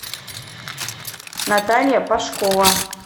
наталья пашкова